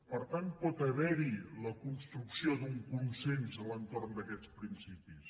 per tant pot haverhi la construcció d’un consens a l’entorn d’aquests principis